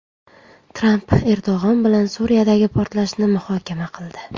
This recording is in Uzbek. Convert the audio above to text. Tramp Erdo‘g‘on bilan Suriyadagi portlashni muhokama qildi.